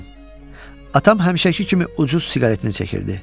Atam həmişəki kimi ucuz siqaretini çəkirdi.